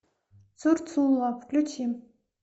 цурцула включи